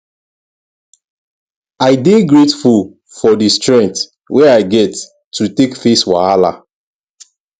i dey grateful for di strength wey i get to take face wahala